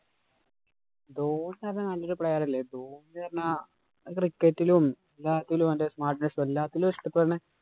നല്ലൊരു player അല്ലേ ഇപ്പൊ. എന്ന് പറഞ്ഞാ cricket ഇലും, എല്ലാത്തിലും അവന്‍റെ smartness എല്ലാത്തിലും ഇഷ്ടപ്പെടുന്ന